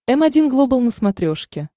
м один глобал на смотрешке